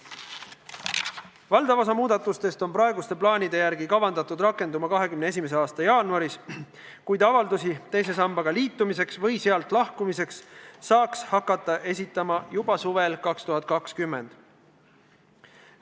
Valdav osa muudatustest on praeguste plaanide järgi kavandatud rakenduma 2021. aasta jaanuarist, kuid avaldusi teise sambaga liitumiseks või sealt lahkumiseks saaks hakata esitama juba 2020. aasta suvel.